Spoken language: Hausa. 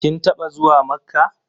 Kin taɓa zuwa Makkah?